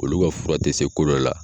Olu ka fura tɛ se kolo la.